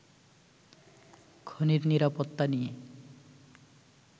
খনির নিরাপত্তা নিয়ে